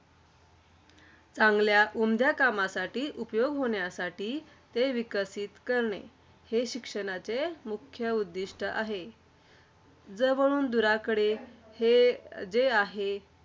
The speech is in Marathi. चांगल्या, उमद्या कामासाठी उपयोग होण्यासाठी ते विकसित करणे. हे शिक्षणाचे मुख्य उद्दिष्ट आहे. जवळून दूराकडे, हे जे आहे.